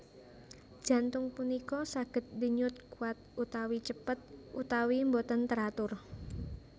Jantung punika saged denyut kuat utawi cepet utawi boten teratur